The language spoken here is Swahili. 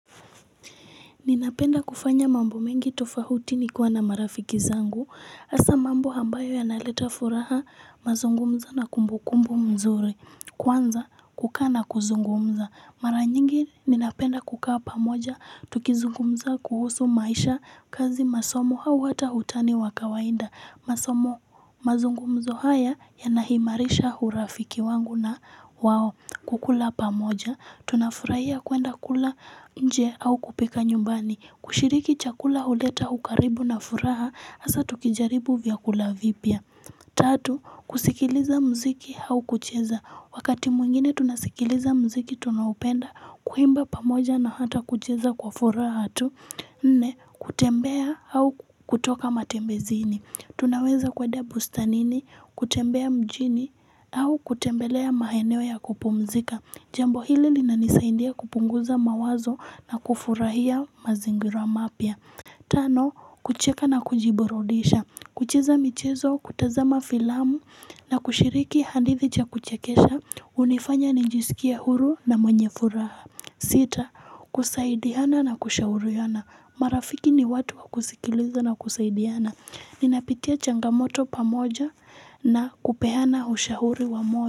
Ninapenda kufanya mambo mengi tofauti nikiwa na marafiki zangu. Hasa mambo ambayo yanaleta furaha, mazungumzo na kumbukumbu mzuri. Kwanza kukaa na kuzungumza. Mara nyingi ninapenda kukaa pamoja Tukizungumza kuhusu maisha, kazi, masomo au hata utani wa kawaida. Masomo, mazungumzo haya yanaimarisha hurafiki wangu na wao. Kukula pamoja Tunafurahia kuenda kula nje au kupika nyumbani. Kushiriki chakula huleta ukaribu na furaha, hasa tukijaribu vyakula vipya Tatu, kusikiliza muziki au kucheza. Wakati mwingine tunasikiliza muziki tunaoupenda, kuimba pamoja na hata kucheza kwa furaha tu Nne, kutembea au kutoka matembezini. Tunaweza kwenda bustanini, kutembea mjini au kutembelea maeneo ya kupumzika. Jambo hili linanisaindia kupunguza mawazo na kufurahia mazingirama mapya. Tano, kucheka na kujiburudisha. Kucheza michezo, kutazama filamu na kushiriki hadithi za kuchekesha. Hunifanya nijiskie huru na mwenye furaha. Sita, kusaidiana na kushauriana marafiki ni watu kusikiliza na kusaidana. Ninapitia changamoto pamoja na kupeana ushauri wa.